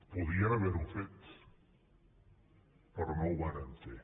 podien haver ho fet però no ho varen fer